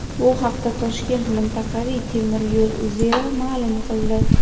Bu haqda Toshkent mintaqaviy temir yo‘l uzeli ma’lum qildi.